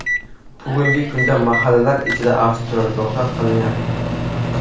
Bugungi kunda mahallalar ichida avtoturargohlar qilinyapti.